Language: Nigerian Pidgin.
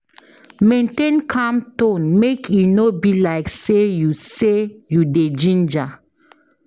Maintain calm tone make e no be like say you say you dey ginger